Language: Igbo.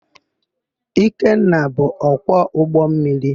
Ikenna bụ ọkwọ ụgbọmmiri.